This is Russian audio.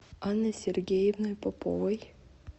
анной сергеевной поповой